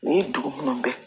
Ni dugu minnu bɛ yen